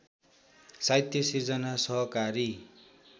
साहित्य सिर्जना सहकारी